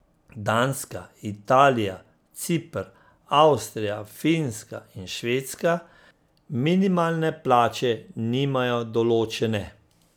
Danska, Italija, Ciper, Avstrija, Finska in Švedska minimalne plače nimajo določene.